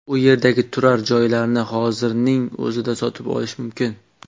U yerdagi turar joylarni hozirning o‘zida sotib olish mumkin.